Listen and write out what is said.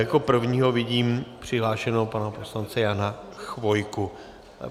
Jako prvního vidím přihlášeného pana poslance Jana Chvojku.